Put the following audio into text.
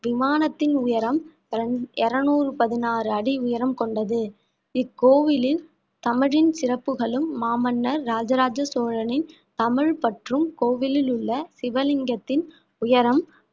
விமானத்தின் உயரம் இருநூறு பதினாறு அடி உயரம் கொண்டது இக்கோவிலில் தமிழின் சிறப்புகளும் மாமன்னர் இராஜ ராஜ சோழனின் தமிழ் பற்றும் கோவிலில் உள்ள சிவலிங்கத்தின் உயரம்